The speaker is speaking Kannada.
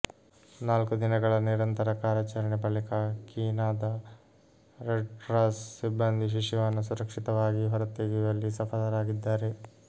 ನಾಲ್ಕು ದಿನಗಳ ನಿರಂತರ ಕಾರ್ಯಾಚರಣೆ ಬಳಿಕ ಕೀನಾದ ರೆಡ್ಕ್ರಾಸ್ ಸಿಬ್ಬಂದಿ ಶಿಶುವನ್ನು ಸುರಕ್ಷಿತವಾಗಿ ಹೊರತೆಗೆಯುವಲ್ಲಿ ಸಫಲರಾಗಿದ್ದಾರೆ